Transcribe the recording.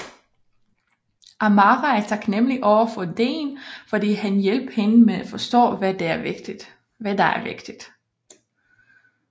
Amara er taknemmelig overfor Dean fordi han hjalp hende med at forstå hvad der er vigtigt